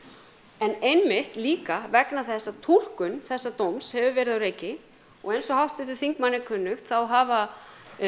en einmitt líka vegna þess að túlkun þessa dóms hefur verið á reiki og eins og háttvirtum þingmanni er kunnugt þá hafa